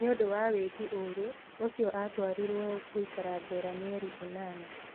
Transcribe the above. Nĩ ũndũ wa wĩki wa ũũru ũcio atuĩrĩirũo gũikara njera mĩeri ĩnana.